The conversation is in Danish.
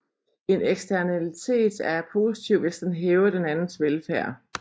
En eksternalitet er positiv hvis den hæver den andens velfærd